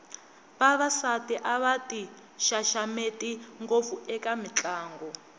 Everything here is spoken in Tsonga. vavasati a va ti xaxameti ngopfu eka mitlangu